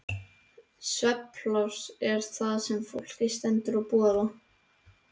Svefnpláss er það sem fólki stendur til boða.